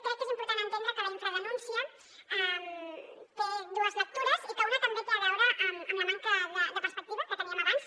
crec que és important entendre que la infradenúncia té dues lectures i que una també té a veure amb la manca de perspectiva que teníem abans